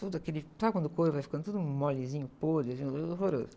Todo aquele, sabe quando o couro vai ficando tudo molezinho, podre, horroroso?